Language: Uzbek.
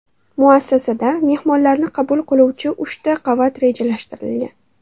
Muassasada mehmonlarni qabul qiluvchi uchta qavat rejalashtirilgan.